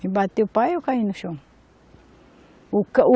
Me bateu o pau e eu caí no chão. O ca o